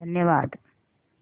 धन्यवाद